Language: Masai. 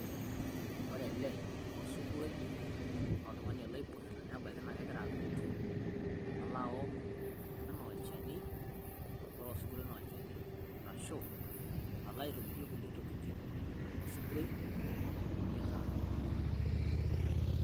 ore ele osuguroi, naa oltung'ani ele oibung'ita, naa idimayu naa kegira adotu, alo aok anaa olchani. amu ore osuroi naa olchani, ashu alo aitobirie kulie tokitin. osuguroi ibung'ita ilo tung'ani.